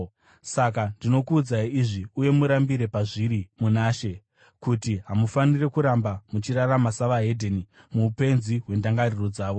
Saka ndinokuudzai izvi, uye murambire pazviri muna She, kuti hamufaniri kuramba muchirarama savaHedheni, muupenzi hwendangariro dzavo.